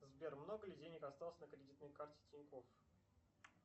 сбер много ли денег осталось на кредитной карте тинькофф